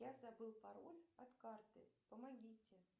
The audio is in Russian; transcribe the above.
я забыл пароль от карты помогите